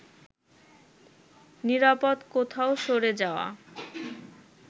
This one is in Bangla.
নিরাপদ কোথাও সরে যাওয়া